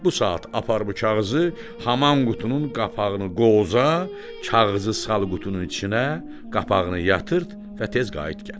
Bu saat apar bu kağızı, haman qutunun qapağını qovuza, kağızı sal qutunun içinə, qapağını yatırtd və tez qayıt gəl.